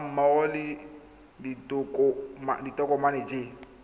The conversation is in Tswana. ga mmogo le ditokomane tse